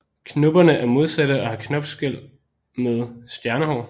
Knopperne er modsatte og har knopskæl med stjernehår